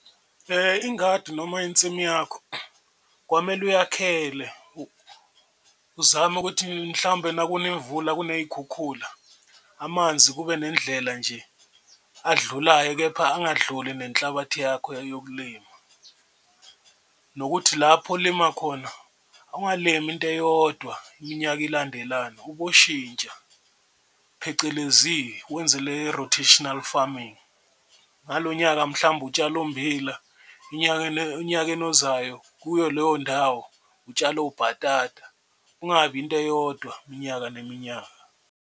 Ingadi noma insimu yakho kwamele uyakhele uzame ukuthi mhlawumbe nakuna imvula kuney'khukhula amanzi kube nendlela nje adlulayo, kepha angadluli nenhlabathi yakho yokulima. Nokuthi lapho olima khona ungalimi into eyodwa iminyaka ilandelana uboshintsha phecelezi wenze le rotational farming, ngalo nyaka mhlawumbe utshale ummbila enyakeni onyakeni ozayo kuyo leyo ndawo utshale obhatata kungabi into eyodwa iminyaka neminyaka.